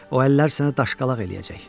O əllər sənə daşqalaq eləyəcək.